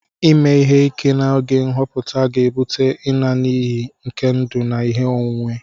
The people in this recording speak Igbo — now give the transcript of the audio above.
Ịme ihe ike na oge nhọpụta ga-ebute ịna n'iyi nke ndụ na ihe onwunwe